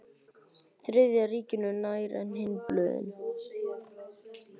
Þriðja ríkinu nær en hin blöðin.